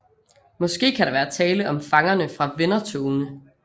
Måske kan der være tale om fangerne fra vendertogene